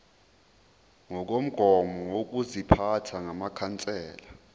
ngokomgomo wokuziphatha wamakhansela